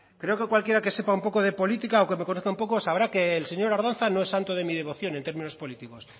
creo que cualquiera que sepa un poco de política o que me conozca un poco sabrá que el señor ardanza no es santo de mi devoción en términos políticos